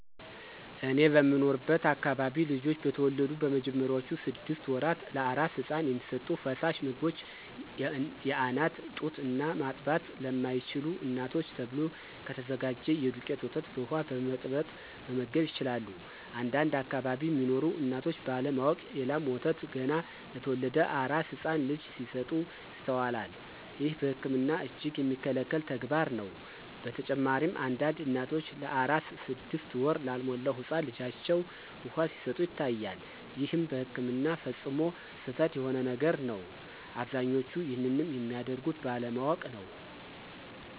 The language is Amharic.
እኔ በምኖርበት አከባቢ ልጆች በተወለዱ በመጀመሪያዎቹ ስድሰት ወራት ለአራስ ህፃን የሚሰጡ ፈሳሽ ምግቦች የአናት ጡት እና ማጥባት ለማይችሉ እናቶች ተብሎ ከተዘጋጀ የዱቄት ወተት በውሃ በመበጥበጥ መመገብ ይችላሉ። አንዳንድ አከባቢ ሚኖሩ እናቶች ባለ ማወቅ የ ላም ወተት ገና ለተወለደ አራስ ህፃን ልጅ ሲሰጡ ይስተዋላል። ይህም በህክምና እጅግ የሚከለከል ተግባርም ነው። በተጨማሪም አንዳንድ እናቶች ለአራስ ስድስት ወር ላልሞላው ህፃን ልጃቸው ውሃ ሲሰጡ ይታያል ይህም በህክምና ፈፅሞ ስህተት የሆነ ነገር ነው። አብዛኞቹም ይንንም የሚያደርጉት ባለማወቅ ነው።